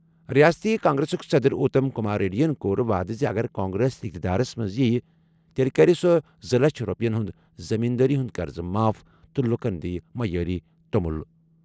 رِیاستی کانگریسُک صدر اُتم کُمار ریڈیَن کوٚر وعدٕ زِ اگرکانگرس اِقتِدارس منٛز یِیہِ تیٚلہِ کَرِ سُہ زٕ لَچھ رۄپیَن ہُنٛد زٔمیٖن دٲری ہُنٛد قرضہٕ ماف تہٕ لوٗکَن معیٲری توٚمُل عطا۔